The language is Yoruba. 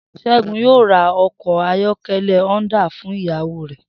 S̩é̩gun yóò ra o̩kò̩ ayó̩ké̩lé̩ Honda fún ìyàwó rè̩